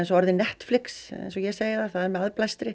orðið Netflix eins og ég segi það það er með